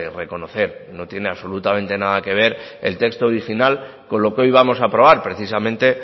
reconocer no tiene absolutamente nada que ver el texto original con lo que hoy vamos a aprobar precisamente